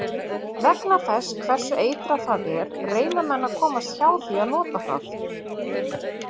Vegna þess hversu eitrað það er reyna menn að komast hjá því að nota það.